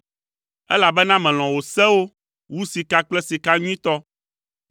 Elabena melɔ̃ wò sewo wu sika kple sika nyuitɔ.